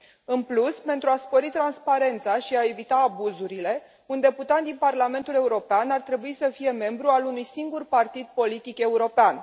În plus, pentru a spori transparența și a evita abuzurile, un deputat din Parlamentul European ar trebui să fie membru al unui singur partid politic european.